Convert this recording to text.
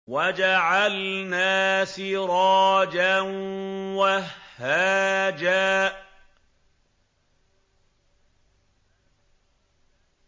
وَجَعَلْنَا سِرَاجًا وَهَّاجًا